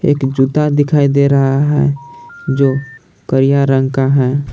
जूता दिखाई दे रहा है जो करिया रंग का है।